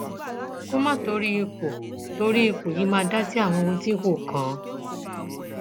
kó má torí ipò torí ipò yìí máa dá sí àwọn ohun tí kò kàn án